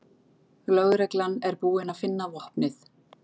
Lögreglan er búin að finna vopnið